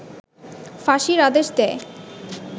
ফাঁসির আদেশ দেয়